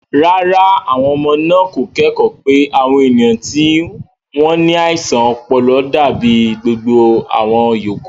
Rárá, àwọn ọmọ náà kò kẹ́kọ̀ọ́ pé àwọn ènìyàn tí wọ́n ní àìsàn ọpọlọ dàbí gbogbo àwọn yòókù.